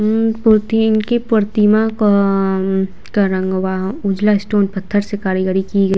उम्म Putin के प्रतिमा का अम्म का रंग हुआ उजला स्टोन पत्थर से कारीगरी की गयी --